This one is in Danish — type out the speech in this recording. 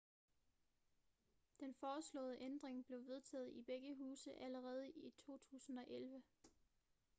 den foreslåede ændring blev vedtaget i begge huse allerede i 2011